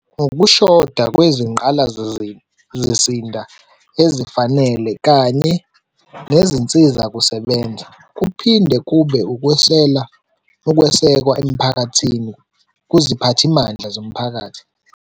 Ukushoda ezifanele kanye nezinsizakusebenza, kuphinde kube ukwesela ukwesekwa kuziphathimandla zomphakathi.